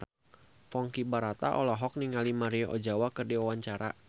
Ponky Brata olohok ningali Maria Ozawa keur diwawancara